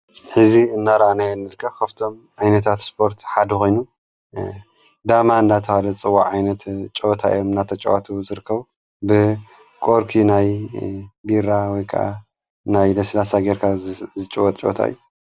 ሕዚ እናራናይ ንልቀ ኸፍቶም ኣይነታት ስፖርት ሓደ ኾይኑ ዳማ እናተበሃለ ዝጽዋዕ ዓይነት ጨወታእዮም ናተጨዋቱ ዘርከቡ ብ ቆርኪ ናይ ቢራ ወይ ከዓ ናይ ለሥላሳ ጌርካ ዝጭወጥ ጨወታ እዩ።